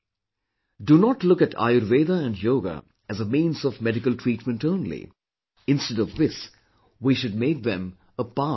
Do not look at Ayurveda and Yoga as a means of medical treatment only; instead of this we should make them a part of our life